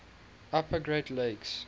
upper great lakes